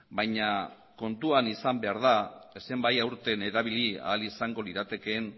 baina kontuan izan behar da zenbait aurten erabili ahal izango liratekeen